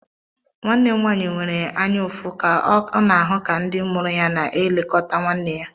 Nwanne m nwanyị nwere anyaụfụ ka ọ na-ahụ ka ndị mụrụ ya na-elekọta nwanne ya.